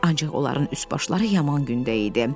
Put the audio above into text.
Ancaq onların üst-başları yaman gündə idi.